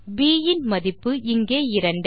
ப் இன் மதிப்பு இங்கே 2